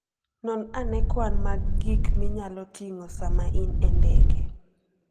Non ane kwan mag gik minyalo ting'o sama in e ndege.